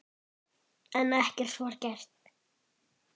En ekkert var gert.